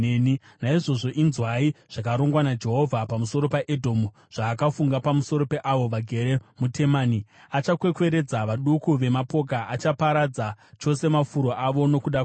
Naizvozvo, inzwai zvakarongwa naJehovha pamusoro peEdhomu, zvaakafunga pamusoro peavo vagere muTemani: Achakwekweredza vaduku vemapoka; achaparadza chose mafuro avo nokuda kwavo.